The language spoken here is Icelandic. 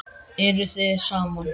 Eruð þið saman?